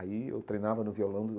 Aí eu treinava no violão.